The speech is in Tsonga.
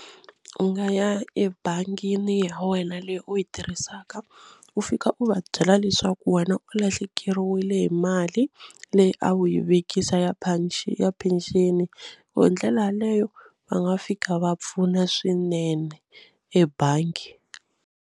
U nga ya ebangini ya wena leyi u yi tirhisaka u fika u va byela leswaku wena u lahlekeriwile hi mali leyi a wu yi vekisa ya ya pension hi ndlela yaleyo va nga fika va pfuna swinene ebangi.